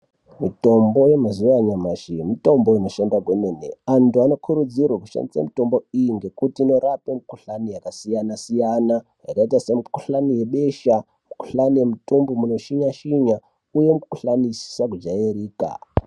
Mitombo yemazuva anyamashi mitombo inoshanda kwemene. Anthu anokurudzirwa kushandisa mitombo iyi ngekuti inorapa mikhuhlani yakasiyana -siyana, yakaita semikhuhlani yebesha, mikhuhlani yemudumbu munoshinya-shinya uye mikhuhlani isina kujairika.